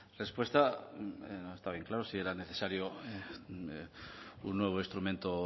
respuesta está bien claro si era necesario un nuevo instrumento